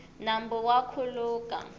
nambu wa khuluka